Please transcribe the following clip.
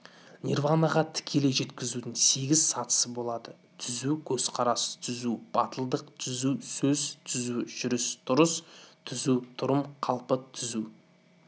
нирванаға тікелей жетудің сегіз сатысы болады түзу көзкарас түзу батылдық түзу сөз түзу жүріс-тұрыс түзу тұрмыс қалпы түзу